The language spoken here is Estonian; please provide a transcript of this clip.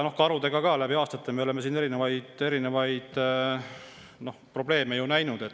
Ka karudega oleme läbi aastate erinevaid probleeme näinud.